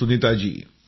thank you